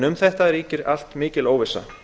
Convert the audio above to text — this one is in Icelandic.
um þetta allt ríkir nú mikil óvissa